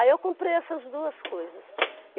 Aí eu comprei essas duas coisas.